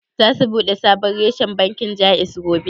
Za su bude sabon reshen bankin Jaiz gobe?